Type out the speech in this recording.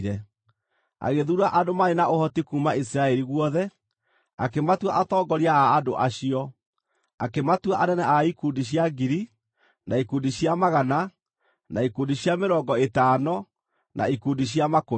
Agĩthuura andũ marĩ na ũhoti kuuma Isiraeli guothe, akĩmatua atongoria a andũ acio; akĩmatua anene a ikundi cia ngiri, na ikundi cia magana, na ikundi cia mĩrongo ĩtano, na ikundi cia makũmi.